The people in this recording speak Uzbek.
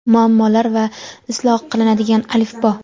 muammolar va isloh qilinadigan alifbo.